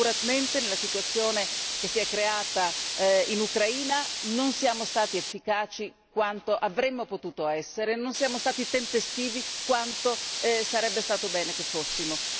Sicuramente, nella situazione che si è creata in Ucraina, non siamo stati efficaci quanto avremmo potuto essere, non siamo stati tempestivi quanto sarebbe stato bene che lo fossimo.